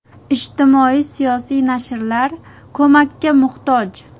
Ijtimoiy-siyosiy nashrlar ko‘makka muhtoj.